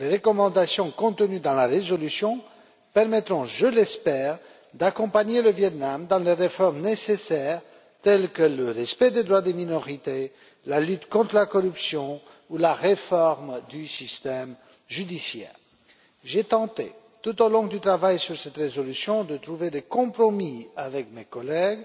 Les recommandations contenues dans la résolution permettront, je l'espère, d'accompagner le Viêt Nam dans les réformes nécessaires, telles que le respect des droits des minorités, la lutte contre la corruption ou la réforme du système judiciaire. Tout au long du travail sur cette résolution, j'ai tenté de trouver des compromis avec mes collègues